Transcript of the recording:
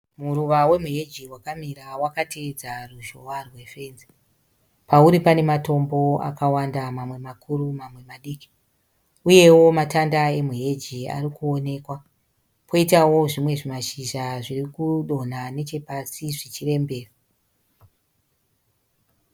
Muruva wemuheji wakamira wakateedza ruzhowa rwefenzi. Pauri panematombo akawanda mamwe makuru mamwe madiki. Uyewo matanda ari muheji arikuonekwa. Kwoitawo zvimwe zvimashizha zvirikudonha zvirikudonha nechepasi zvimwe zvichirembera.